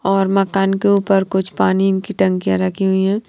और मकान के ऊपर कुछ पानी इनकी टंकियां रखी हुई हैं।